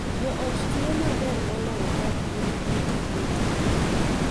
Jo ot tiyo maber moloyo ka gin gi tije, ting’,